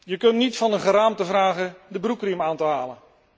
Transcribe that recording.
Je kunt niet van een geraamte vragen de broekriem aan te halen.